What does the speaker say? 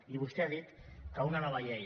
i vostè ha dit que una nova llei